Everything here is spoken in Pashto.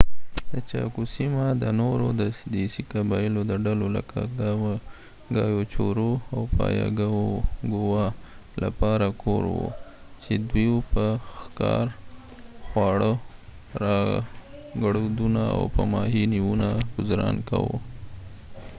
د چاکو سیمه د نورو دیسي قبایلو د ډلو لکه ګایوچورو او پایاګووا لپاره کور و چې دوی په ښکار خواړه راګړدونه او په ماهي نیونه ګذران کاوه